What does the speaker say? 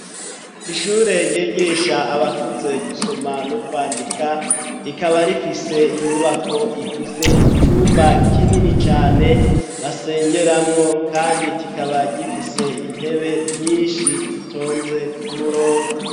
Ishure ryigisha abakuze gusoma no kwandika rikaba rifise inyubako ifise icumba kinini cane basengeramwo kandi kikaba gifise intebe nyinshi zitonze kumurongo.